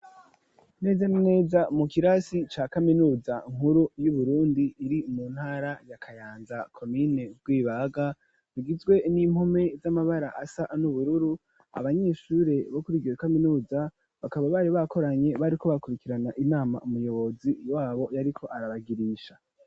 Neza na neza mu kirasi ca kaminuza nkuru y'uburundi iri mu ntara ya kayanza komine rwibaga rugizwe n'impome z'amabara asa n'ubururu abanyeshure bo kuri iryo kaminuza bakaba bari bakoranye bariko bakurikirana inama n'umuyobozi wabo yariko arabagirisha.